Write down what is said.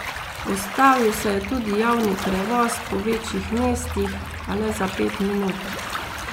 Ustavil se je tudi javni prevoz po večjih mestih, a le za pet minut.